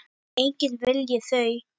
Enginn vilji þau.